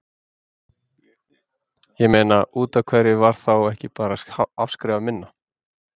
Ég meina, útaf hverju var þá ekki bara afskrifað minna?